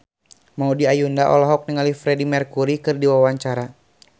Maudy Ayunda olohok ningali Freedie Mercury keur diwawancara